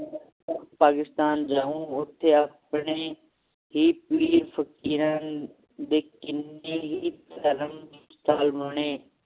ਪਾਕਿਸਤਾਨ ਜਾਉ ਓਥੇ ਆਪਣੇ ਹੀ ਪੀਅਰ ਫ਼ਕੀਰਾਂ ਦੇ ਕਿੰਨੇ ਹੀ ਧਰਮ ਹੋਣੇ